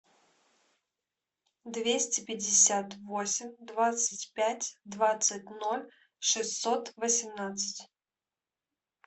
двести пятьдесят восемь двадцать пять двадцать ноль шестьсот восемнадцать